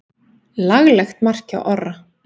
Laglegt mark hjá Orra.